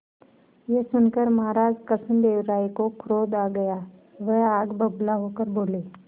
यह सुनकर महाराज कृष्णदेव राय को क्रोध आ गया वह आग बबूला होकर बोले